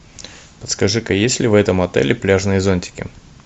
подскажи ка есть ли в этом отеле пляжные зонтики